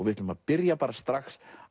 við ætlum að byrja